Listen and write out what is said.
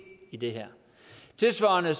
i det her tilsvarende